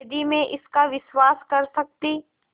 यदि मैं इसका विश्वास कर सकती